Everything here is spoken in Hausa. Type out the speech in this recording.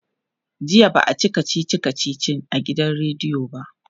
jiya ba'a Yi kachichi kachichi a gidan rediyo ba